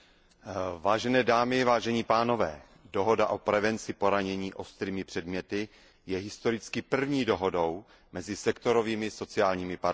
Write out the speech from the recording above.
Vážené dámy, vážení pánové, dohoda o prevenci poranění ostrými předměty je historicky první dohodou mezi sektorovými sociálními partnery.